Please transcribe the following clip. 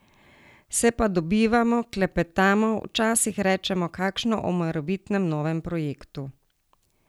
Se pa dobivamo, klepetamo, včasih rečemo kakšno o morebitnem novem projektu.